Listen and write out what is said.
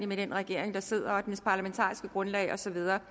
med den regering der sidder og dens parlamentariske grundlag og så videre